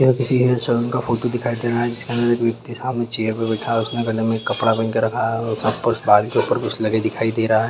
ये किसी सैलून का फोटो दिखाई दे रहे हैसामने चेयर पे बैठा हुआ हैउसमे गले में एक कपड़ा पहन के रखा हैबाल के ऊपरी हिस्से में कुछ लगा हुआ दिखाई दे रहा है।